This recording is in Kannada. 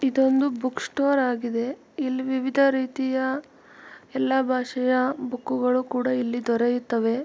ಇದೊಂದು ಬುಕ್ ಸ್ಟೋರ್ ಆಗಿದೆ. ಇಲ್ಲಿ ವಿವಿಧ ರೀತಿಯ ಎಲ್ಲಾ ಭಾಷೆಯ ಬುಕ್ಕುಗಳು ಕೂಡ ಇಲ್ಲಿ ದೊರೆಯುತ್ತವೆ.